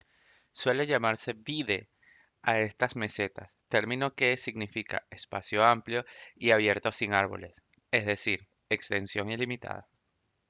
suele llamarse vidde a estas mesetas término que significa espacio amplio y abierto sin árboles es decir extensión ilimitada